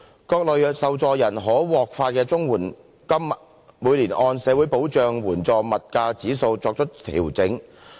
各類受助人可獲發的綜援金每年按社會保障援助物價指數作出調整。